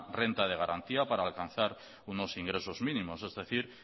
renta de garantía para alcanzar unos ingresos mínimos es decir